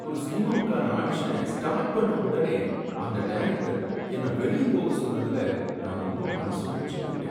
ஒரு சினிமாவுக்கான ஆடிஷனை ஸ்டார்ட் பண்ண ஒடனே அந்த டைரக்டர் என்னை வெளிய போக சொன்னதுல நான் ரொம்ப மனசொடிஞ்சி போய்ட்டேன்.